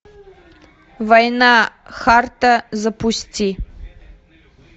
война харта запусти